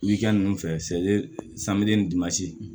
Wikɛni fɛ